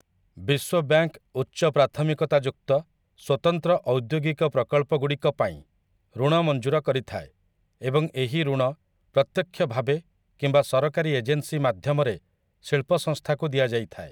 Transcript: ବିଶ୍ୱ ବ୍ୟାଙ୍କ୍‌‌ ଉଚ୍ଚ ପ୍ରାଥମିକତା ଯୁକ୍ତ ସ୍ୱତନ୍ତ୍ର ଔଦ୍ୟୋଗିକ ପ୍ରକଳ୍ପଗୁଡ଼ିକ ପାଇଁ ଋଣ ମଞ୍ଜୁର କରିଥାଏ ଏବଂ ଏହି ଋଣ ପ୍ରତ୍ୟକ୍ଷ ଭାବେ କିମ୍ବା ସରକାରୀ ଏଜେନ୍ସି ମାଧ୍ୟମରେ ଶିଳ୍ପ ସଂସ୍ଥାକୁ ଦିଆଯାଇଥାଏ ।